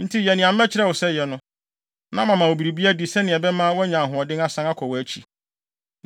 Enti yɛ nea mɛkyerɛ wo sɛ yɛ no, na mama wo biribi adi sɛnea ɛbɛma woanya ahoɔden asan akɔ wʼakyi.”